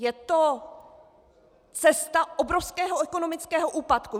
Je to cesta obrovského ekonomického úpadku.